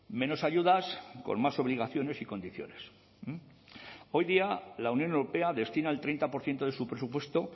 menos ayudas con más obligaciones y condiciones hoy día la unión europea destina el treinta por ciento de su presupuesto